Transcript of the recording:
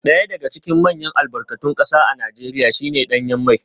Daya daga cikin manyan albarkatun kasa a Najeriya shi ne danyen mai